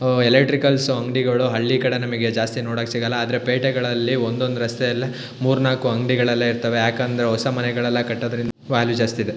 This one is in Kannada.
ಓ ಎಲೆಕ್ಟ್ರಿಕಲ್ಸ್ ಅಂಗಡಿಗಳು ಹಳ್ಳಿಕಡೆಗೆ ನಮಗೆ ಜಾಸ್ತಿ ನೋಡಕ್ಕೆ ಸಿಗಲ್ಲಾ ಆದ್ರೆ ಪೇಟೆಗಳಲ್ಲಿ ಒಂದು ಒಂದು ರಸ್ತೆಲ್ಲಿ ಮೂರ ನಾಲಕ್ ಅಂಗಡಿಗಳೆಲ್ಲಾ ಇರತ್ತವೆ ಯಾಕಂದ್ರೆ ಹೊಸ ಮನೆಗಳೆಲ್ಲಾ ಕಟ್ಟೋದ್ರಿಂದ ವ್ಯಾಲ್ಯೂ ಜಾಸ್ತಿ ಇದೆ.